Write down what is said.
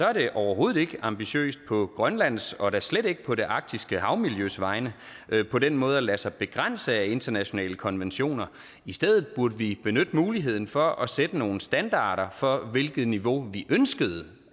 er det overhovedet ikke ambitiøst på grønlands og da slet ikke på det arktiske havmiljøs vegne på den måde at lade sig begrænse af internationale konventioner i stedet burde vi benytte muligheden for at sætte nogle standarder for hvilket niveau vi ønskede